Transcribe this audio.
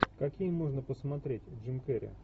какие можно посмотреть джим керри